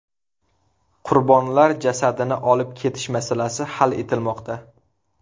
Qurbonlar jasadini olib kelish masalasi hal etilmoqda.